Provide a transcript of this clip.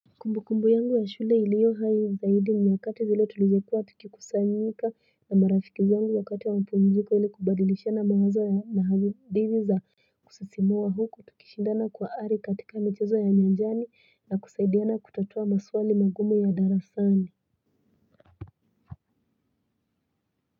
Kumbukumbu yangu ya shule iliyo hai zaidi ni wakati zile tulizokua tukikusanyika na marafiki zangu wakati ya mapumziko ili kubadilishia na mawazo ya na hadithi za kusisimua huku tukishindana kwa ari katika michezo ya nyanjani na kusaidiana kutatua maswali magumu ya darasani.